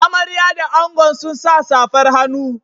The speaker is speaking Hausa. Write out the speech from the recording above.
Amarya da angon sun sa safar hannu.